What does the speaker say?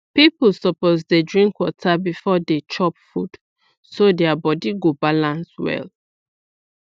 people suppose dey drink water before Dey chop food so their body go balance well